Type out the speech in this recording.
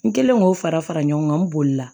N kɛlen k'o fara fara ɲɔgɔn kan n bolila